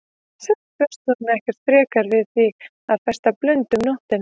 Samt bjóst hún ekkert frekar við því að festa blund um nóttina.